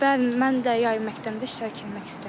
Bəli, mən də yay məktəbində iştirak eləmək istəyirəm.